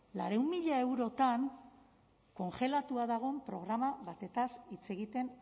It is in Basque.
laurehun mila eurotan kongelatua dagoen programa batez hitz egiten